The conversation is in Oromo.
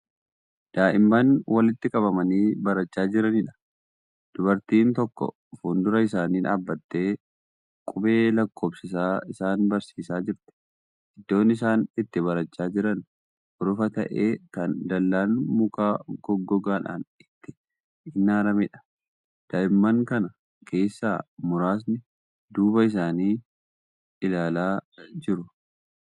Daa'imman walitti qabamanii barachaa jiraniidha. dubartiin tokko fuundura isaanii dhaabattee qubee lakkoofsisaa isaan barsiisaa jirti. iddoon. isaan itti barachaa Jiran urufa ta'ee Kan dallaan muka goggogaadhaan itti inaarameedha. daa'imman Kana keessaa muraasni duuba isaanii ilaalaa jiru.